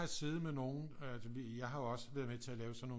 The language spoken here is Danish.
Siddet med nogen jeg har jo også været med til at lave sådan nogen